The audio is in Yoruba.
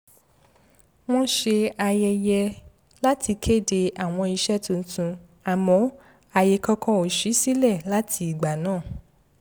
wọ́n ṣe àyẹyẹ láti kéde àwọn iṣẹ́ tuntun àmọ́ àyè kankan ò ṣí sílẹ̀ láti ìgbà náà